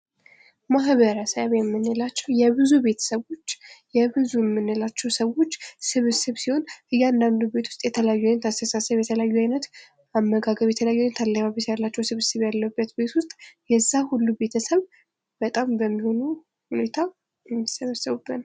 ማህበረሰብ የምንላቸው የብዙ ቤተሰቦች የብዙ የምንላቸው ሰዎች ስብስብ ሲሆን እያንዳንዱ ቤት ዉስጥ የተለያየ የሆነ አስተሳሰብ የተለያዩ የሆነ አመግግብ የተለያዩ የሆነ አለባበስ ያላቸው ስብስብ የሆነ ቤት ውስጥ የዛ ሁሉ ቤተሰብ በጣም በሚሆን ሁኔታ የሚሰበስብበት ነው::